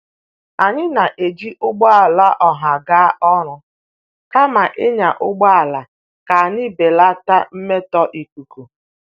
Anyị na-eji ụgbọala ọha aga ọrụ kama ịnya ụgbọala ka anyị belata mmetọ ikuku.